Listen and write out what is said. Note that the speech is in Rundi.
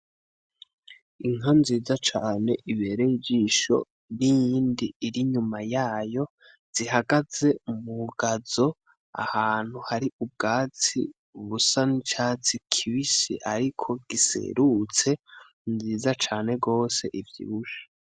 Inka nziza cane ibereye ijisho n'iyindi irinyuma yayo zihagaze mumugazo ahantu hari ubwatsi busa n'icatsi kibisi ariko giserutse nziza cane gose ivyibushe .